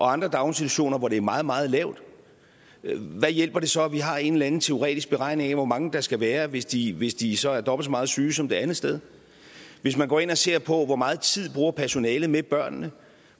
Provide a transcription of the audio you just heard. andre daginstitutioner hvor det er meget meget lavt hvad hjælper det så at vi har en eller anden teoretisk beregning af hvor mange der skal være hvis de hvis de så er dobbelt så meget syge som det andet sted hvis man går ind og ser på hvor meget tid personalet bruger med børnene og